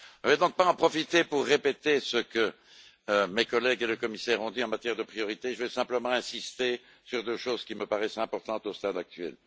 Je ne vais donc pas en profiter pour répéter ce que mes collègues et le commissaire ont dit en matière de priorités, je veux simplement insister sur deux choses, qui me paraissent importantes au stade actuel.